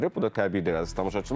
Bu da təbiidir əziz tamaşaçılar.